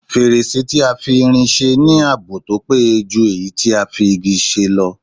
Fèrèsé tí a fi irin se ní ààbò tó péye jù èyí tí a fi Igi ṣe lọ